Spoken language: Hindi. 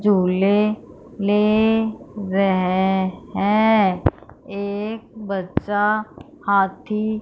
झूले ले रहे हैं। एक बच्चा हाथी--